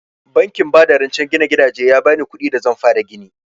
Bankin ba da rancen gina gidaje ya bani kuɗin da zan fara gini